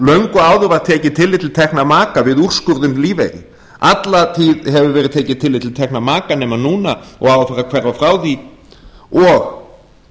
löngu áður var tekið tillit til tekna maka við úrskurð um lífeyri alla tíð hefur verið tekið tillit til tekna maka nema núna og á eftir að hverfa frá því og